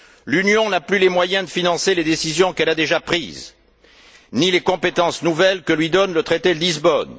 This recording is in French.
L'Union n'a plus les moyens de financer les décisions qu'elle a déjà prises, ni les compétences nouvelles que lui donne le traité de Lisbonne.